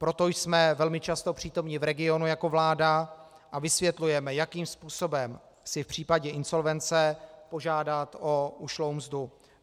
Proto jsme velmi často přítomni v regionu jako vláda a vysvětlujeme, jakým způsobem si v případě insolvence požádat o ušlou mzdu.